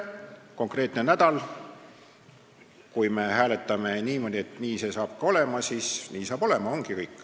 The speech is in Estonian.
Konkreetne nädal – kui me hääletame niimoodi, et nii see saab olema, siis nii saab olema ja ongi kõik.